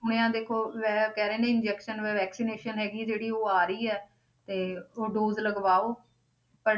ਸੁਣਿਆ ਦੇਖੋ ਇਹ ਕਹਿ ਰਹੇ ਨੇ injection vaccination ਹੈਗੀ ਜਿਹੜੀ ਉਹ ਆ ਰਹੀ ਆ ਤੇ ਉਹ dose ਲਗਵਾਓ ਪਰ